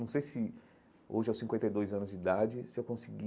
Não sei se hoje, aos cinquenta e dois anos de idade, se eu consegui